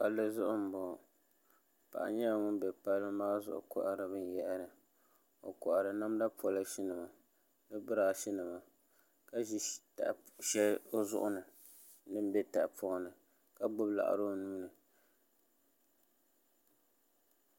Palli zuɣu n boŋo paɣa nyɛla ŋun bɛ palli maa zuɣu kohari binyahari o kohari namda polish nima ni birash nimaka ʒi shɛli o zuɣu ni din bɛ tahapoŋ ni ka gbubi laɣari o nuuni